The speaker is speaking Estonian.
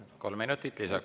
Kolm minutit lisaks.